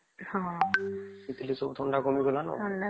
ହଁ ସେଠି କଲାଗି ସବୁ ଥଣ୍ଡା କମି ଗଲାନା